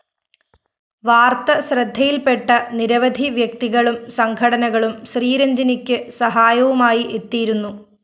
വാര്‍ത്ത ശ്രദ്ധയില്‍പെട്ട നിരവധി വ്യക്തികളും സംഘടനകളും ശ്രീരജ്ഞിനിക്ക് സഹായവുമായി എത്തിയിരുന്നു